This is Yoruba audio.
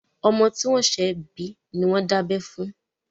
Ọmọ tí wọ́n ṣẹ̀ bí ni wọ́n dábẹ́ fún.